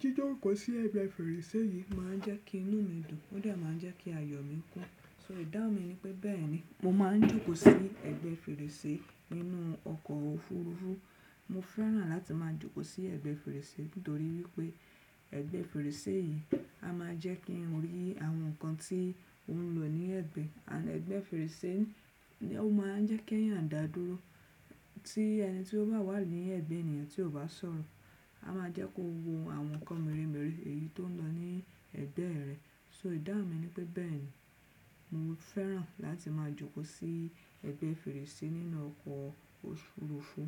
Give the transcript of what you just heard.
Jíjókòó sí ẹ̀gbẹ́ fèrèsé yìí má a ń jẹ́ kí inú mi dùn ó dà má a ń jẹ́ kí ayọ̀ mi kún. So ìdáhùn mi ni wípé bẹ́ẹ̀ni mo má a ń jókòó sí ẹ̀gbẹ́ fèrèsé nínú ọkọ̀ òfuurufú. Mo fẹ́ràn láti máa jókòó sí ẹ̀gbẹ́ fèrèsé nítorí wípé ẹ̀gbẹ́ fèrèsé yìí a má a jẹ́ kí n o rí àwọn nǹkan tí ó ń lọ ní ẹ̀gbẹ́. Ẹ̀gbẹ́ fèrèsé ó má a ń jẹ́ kí ẹ̀yàn dàdúró tí ẹni tí ó bá wà ní ẹ̀gbẹ́ ènìyàn tí ó bá sọ̀rọ̀ a má a jẹ́ kó wo àwọn nǹkan mèremère èyí tó ń lọ ní ẹ̀gbẹ́ rẹ̀. So ẹ̀dá mi ni wípé bẹ́ẹ̀ni mo fẹ́ràn láti máa jókòó sí ẹ̀gbẹ́ fèrèsé nínú ọkọ̀ òfuurufú.